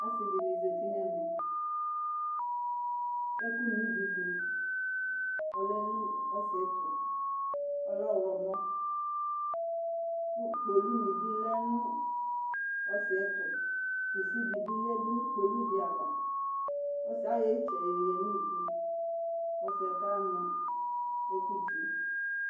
Asɩ dɩnɩ zati nʋ ɛmɛ kʋ ɛkʋnividʋ ɔlɛ nʋ ɔsɩ yɛ tʋ Ɔlɛ ɔɣlɔmɔ kʋ kpolunɩ bɩ lɛ nʋ ɔsɩ yɛ tʋ Kusi dɩ bɩ yǝdu nʋ kpolu dɩ ava Ɔsɩ ayɔ ɩtsɛ yoyǝ nʋ ivu kʋ ɔsɩ yɛ kanʋ ɛkʋdzi